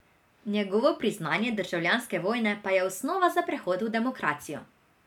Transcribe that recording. Njegovo priznanje državljanske vojne pa je osnova za prehod v demokracijo.